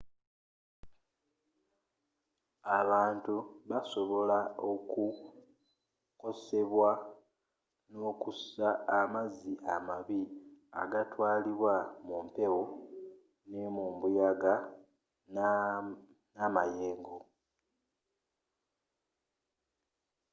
abantu basobola okukosebwa nokussa amazzi amabi agatwalibwa mumpewo nembuyaga namayengo